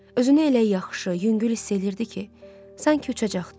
Özünü elə yaxşı, yüngül hiss eləyirdi ki, sanki uçacaqdı.